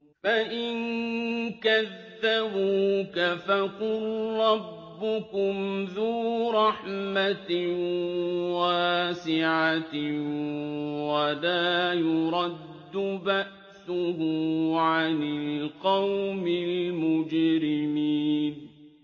فَإِن كَذَّبُوكَ فَقُل رَّبُّكُمْ ذُو رَحْمَةٍ وَاسِعَةٍ وَلَا يُرَدُّ بَأْسُهُ عَنِ الْقَوْمِ الْمُجْرِمِينَ